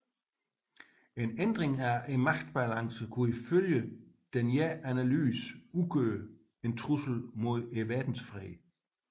En ændring af magtbalancen kunne ifølge denne analyse udgøre en trussel mod verdensfreden